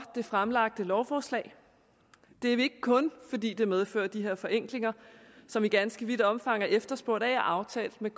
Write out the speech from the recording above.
det fremlagte lovforslag det er vi ikke kun fordi det medfører de her forenklinger som i ganske vidt omfang er efterspurgt af og aftalt med